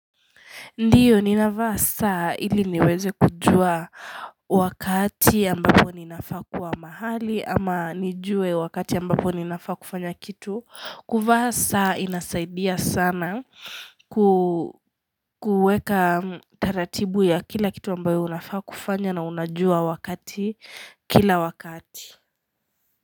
Ndiyo, ninavaa saa ili niweze kujua wakati ambapo ninafaa kuwa mahali ama nijue wakati ambapo ninafaa kufanya kitu. Kuvaa saa inasaidia sana kuweka taratibu ya kila kitu ambayo unafaa kufanya na unajua wakati kila wakati.